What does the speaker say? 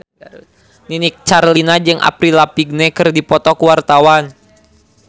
Nini Carlina jeung Avril Lavigne keur dipoto ku wartawan